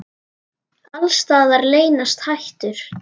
Alls staðar leynast hættur.